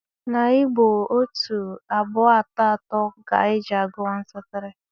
Na Igbo, otu, abụọ atọ atọ ga-eji gụọ 1, 2, 3.